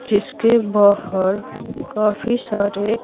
जिसके बाहर काफी सारे--